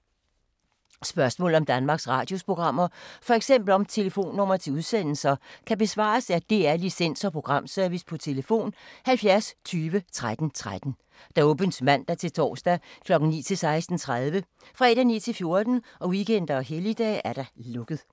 Spørgsmål om Danmarks Radios programmer, f.eks. om telefonnumre til udsendelser, kan besvares af DR Licens- og Programservice: tlf. 70 20 13 13, åbent mandag-torsdag 9.00-16.30, fredag 9.00-14.00, weekender og helligdage: lukket.